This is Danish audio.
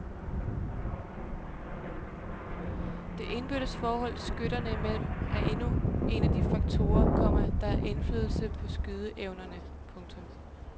Det indbyrdes forhold skytterne imellem er endnu en af de faktorer, komma der har indflydelse på skydeevnerne. punktum